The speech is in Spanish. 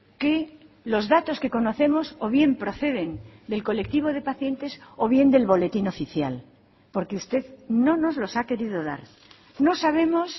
que los datos que conocemos o bien proceden del colectivo de pacientes o bien del boletín oficial porque usted no nos los ha querido dar no sabemos